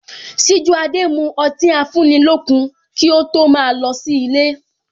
Sijuade mu ọtí afúnilókun kí ó tó ma lọ sí ilé